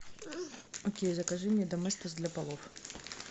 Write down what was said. окей закажи мне доместос для полов